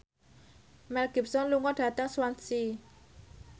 Mel Gibson lunga dhateng Swansea